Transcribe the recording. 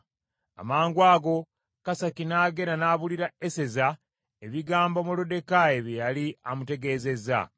Amangwago Kasaki n’agenda n’abuulira Eseza ebigambo Moluddekaayi bye yali amutegeezezza.